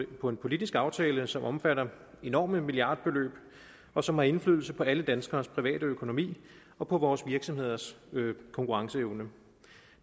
på en politisk aftale som omfatter enorme milliardbeløb og som har indflydelse på alle danskeres private økonomi og vores virksomheders konkurrenceevne